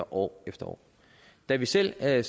år efter år da vi selv sad i